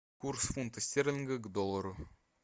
курс фунта стерлинга к доллару